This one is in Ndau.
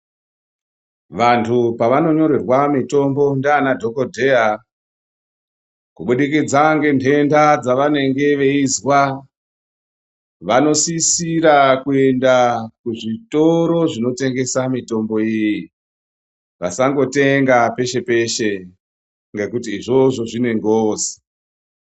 Vantu pavanonyorerwa mutombo ndianadhogodheya kubudikidza ngentenda dzavanenge veizwa vanosisira kuenda kuzvitoro zvinotengesa mitombo iyii, vasangotenga peshe-peshe ngekuti izvozvo zvine ngozi.